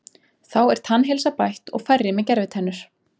Þá er tannheilsa bætt og færri með gervitennur.